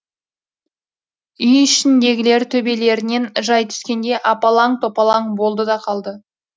үй ішіндегілер төбелерінен жай түскендей апалаң топалаң болды да қалды